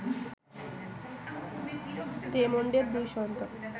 রেমন্ডের দুই সন্তান